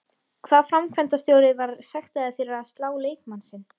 Hvaða framkvæmdarstjóri var sektaður fyrir að slá leikmann sinn?